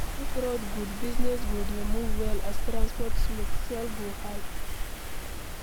If road good, business go dey move well as transport smooth, sales go high